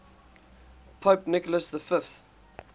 pope nicholas v